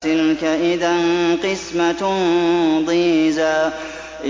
تِلْكَ إِذًا قِسْمَةٌ ضِيزَىٰ